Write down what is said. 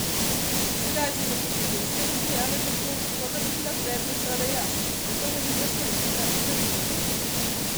Tedaj so se tudi ženske zasmejale tako, kot da bi bila predmet šale jaz, ne pa velika slovenska bremena.